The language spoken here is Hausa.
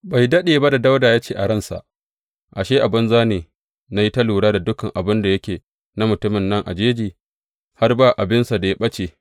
Bai daɗe ba da Dawuda ya ce a ransa, Ashe, a banza ne na yi ta lura da dukan abin da yake na mutumin nan a jeji, har ba abinsa da ya ɓace.